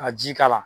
Ka ji k'a la